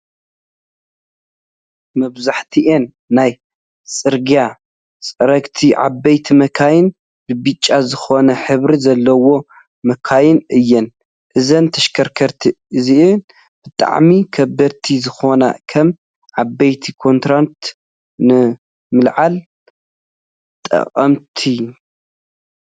መብዛሕቲኣን ናይ ፅርግያ ፅረግቲ ዓበይቲ መካይን ብብጫ ዝኮነ ሕብሪ ዘለው መካይን እየን። እዛ ተሽካርካሪት እዚኣ ብጣዕሚ ከበድቲ ዝኮኑ ከም ዓበይቲ ኮቴነራት ንምልዓል ትጠቅም።